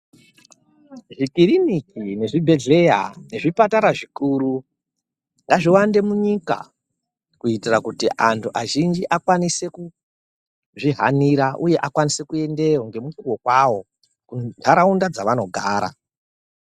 Zvikiriniki nezvibhehleya nezvipatara zvikuru ngazviwande munyika kuitira kuti antu azhinji akwanise kuzvihanira uye akwanise kuendeyo ngemukuwo kwawo muntaraunda dzavanogara.